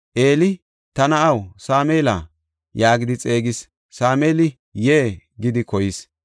Eeli, “Ta na7aw, Sameela” yaagidi xeegis. Sameeli, “Yee” gidi koyis.